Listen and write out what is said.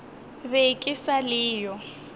be ke sa le yo